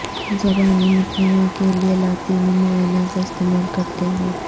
زبانی متنوع کے لئے لاطینی معائنہ کا استعمال کرتے ہوئے